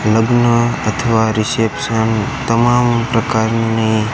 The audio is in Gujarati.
લગ્ન અથવા રિસેપ્શન તમામ પ્રકારની--